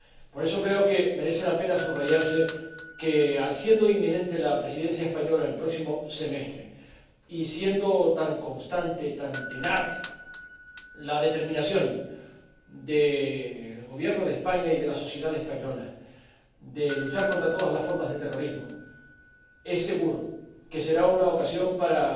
Por eso, creo que merece la pena subrayar que, siendo inminente la Presidencia española el próximo semestre, y siendo tan constante, tan tenaz, la determinación del Gobierno de España y de la sociedad española de luchar contra todas las formas de terrorismo, es seguro que será una ocasión para